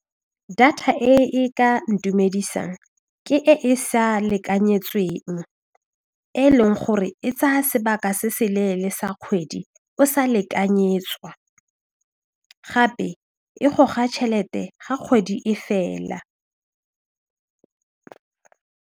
Data e e ka ntumedisang ke e e sa lekanyetsweng e leng gore e tsaya sebaka se se leele sa kgwedi o sa lekanyetswa gape e goga tšhelete ga kgwedi e fela.